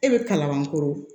E bɛ kalabankoro